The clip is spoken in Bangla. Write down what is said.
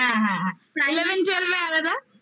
হ্যাঁ হ্যাঁ হ্যাঁ eleven twelve এ আলাদা